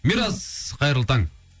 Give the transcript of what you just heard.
мирас қайырлы таң